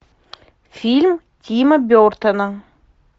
фильм тима бертона